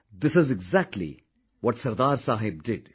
This is exactly what Sardar sahib did